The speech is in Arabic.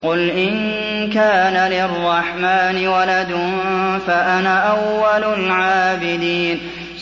قُلْ إِن كَانَ لِلرَّحْمَٰنِ وَلَدٌ فَأَنَا أَوَّلُ الْعَابِدِينَ